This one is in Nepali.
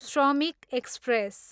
श्रमिक एक्सप्रेस